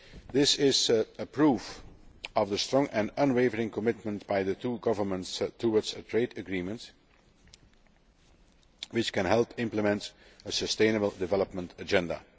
This is proof of the strong and unwavering commitment by the two governments towards a trade agreement which can help implement a sustainable development agenda.